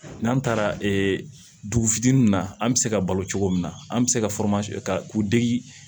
N'an taara dugu fitinin na an bi se ka balo cogo min na an be se ka ka k'u degi